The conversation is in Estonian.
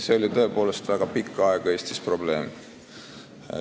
See oli tõepoolest väga pikka aega Eestis probleem.